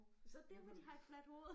Så er det derfor de har et fladt hoved